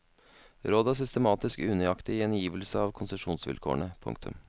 Rådet er systematisk unøyaktig i gjengivelse av konsesjonsvilkårene. punktum